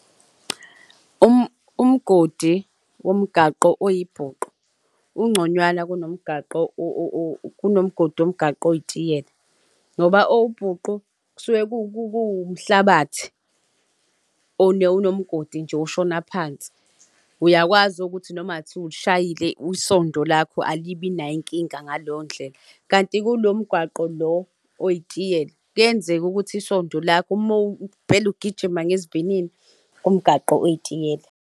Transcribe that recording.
Umgodi womgaqo oyibhuqu ungconywana kunomgaqo kunomgodi womgaqo oyitiyela, ngoba owubhuqu kusuke kuwumhlabathi onomgodi nje oshona phansi. Uyakwazi ukuthi noma ngathiwa ulishayile isondo lakho alibi nayo inkinga ngaleyo ndlela. Kanti kulo mgaqo lo oyitiyela kuyenzeka ukuthi isondo lakho uma impela ugijima ngesivinini kumgaqo oyitiyela.